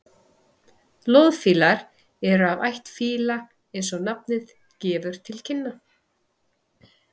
loðfílar eru af ætt fíla eins og nafnið gefur til kynna